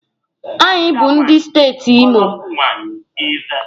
Anyị bụ ndị steeti Imo